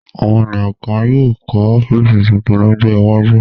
Àwọn ènìyàn kan yóò kọ́ ọ́fíísì tuntun lọ́jọ́ iwájú.